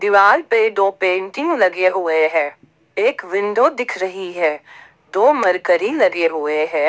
दीवार पे दो पेंटिंग लगे हुए हैं एक विंडो दिख रही है दो मरकरी लगे हुए हैं।